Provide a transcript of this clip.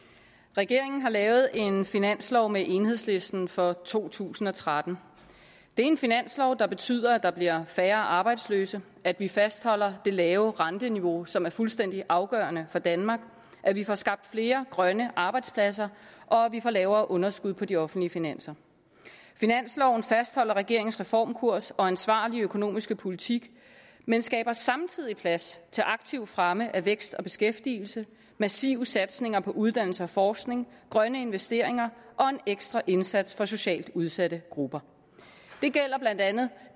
regeringen har lavet en finanslov med enhedslisten for to tusind og tretten det er en finanslov der betyder at der bliver færre arbejdsløse at vi fastholder det lave renteniveau som er fuldstændig afgørende for danmark at vi får skabt flere grønne arbejdspladser og at vi får lavere underskud på de offentlige finanser finansloven fastholder regeringens reformkurs og ansvarlige økonomiske politik men skaber samtidig plads til aktiv fremme af vækst og beskæftigelse massive satsninger på uddannelse og forskning grønne investeringer og en ekstra indsats for socialt udsatte grupper det gælder blandt andet